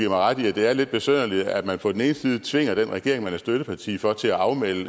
ret i at det er lidt besynderligt at man på den ene side tvinger den regering man er støtteparti for til at afmelde